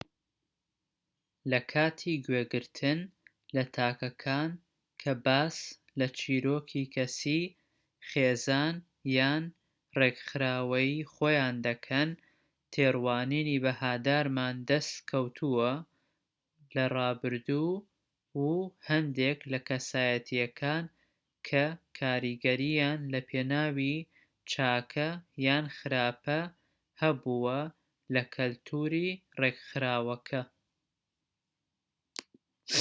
لە کاتی گوێگرتن لە تاکەکان کە باس لە چیرۆکی کەسی خێزان یان ڕێکخراوەیی خۆیان دەکەن تێڕوانینی بەهادارمان دەست کەوتووە لە ڕابردوو و هەندێک لە کەسایەتیەکان کە کاریگەریان لە پێناوی چاکە یان خراپە هەبووە لە کەلتوری ڕێکخراوەکە